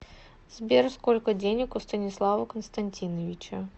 сбер сколько денег у станислава константиновича